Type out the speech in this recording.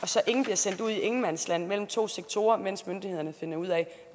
så ingen bliver sendt ud i ingenmandsland mellem to sektorer mens myndighederne finder ud af